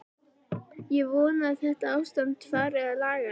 Ég vona að þetta ástand fari að lagast.